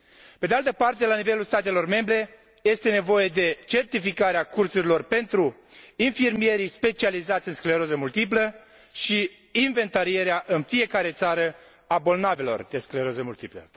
Pe de altă parte, la nivelul statelor membre este nevoie de certificarea cursurilor pentru infirmierii specializați în scleroză multiplă și inventarierea în fiecare țară a bolnavilor de scleroză multiplă.